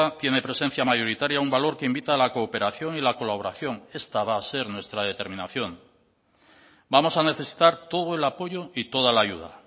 tiene presencia mayoritaria un valor que invita a la cooperación y la colaboración esta va a ser nuestra determinación vamos a necesitar todo el apoyo y toda la ayuda